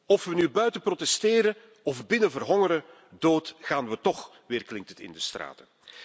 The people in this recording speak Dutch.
Of we nu buiten protesteren of binnen verhongeren, dood gaan we toch, weerklinkt het in de straten.